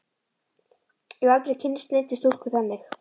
Ég hef aldrei kynnst neinni stúlku þannig.